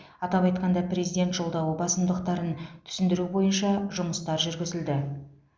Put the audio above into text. атап айтқанда президент жолдауы басымдықтарын түсіндіру бойынша жұмыстар жүргізілді